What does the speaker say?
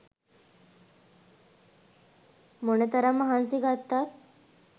මොනතරම් මහන්සි ගත්තත්